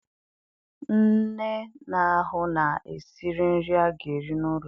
Nne na-ahụ na e siri nri a ga-eri n'ụlọ